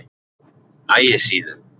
Ægisíðu